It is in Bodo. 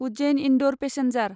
उज्जैन इन्दौर पेसेन्जार